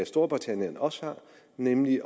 storbritannien også har nemlig